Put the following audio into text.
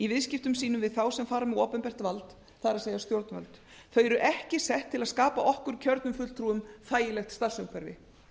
viðskiptum sínum við þá sem fara með opinbert vald það er stjórnvöld þau eru ekki sett til að skapa okkur kjörnum fulltrúum þægilegt starfsumhverfi